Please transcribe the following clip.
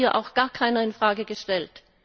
Das hat hier auch gar keiner in Frage gestellt.